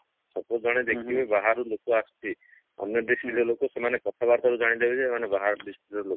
suppose ଜଣେ ଦେଖିବ ବାହାରୁ ଲୋକ ଆସିଛି ଆମ district ର ଲୋକ ସେମାନେ କଥାବାର୍ତା ରୁ ଜାଣିଦେବେ ଯେ ଏମାନେ ବାହାର district ର ଲୋକ